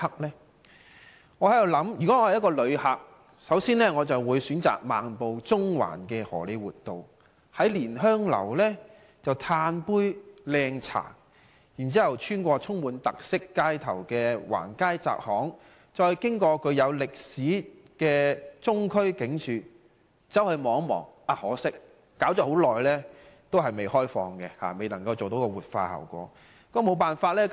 我想如果我是一位旅客，首先，我會選擇漫步中環的荷李活道，在蓮香樓喝一杯"靚茶"，然後穿過充滿特色的橫街窄巷，再進入具有歷史特色的中區警署看一看，可惜中區警署遲遲未能完成活化程序，未能開放。